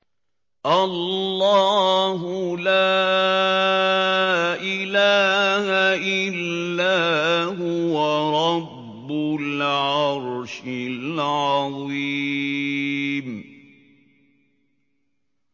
اللَّهُ لَا إِلَٰهَ إِلَّا هُوَ رَبُّ الْعَرْشِ الْعَظِيمِ ۩